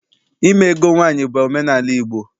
Ime ego nwaanyị bụ omenaala Igbo.